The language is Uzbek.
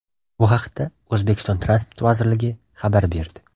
Bu haqda O‘zbekiston Transport vazirligi xabar berdi .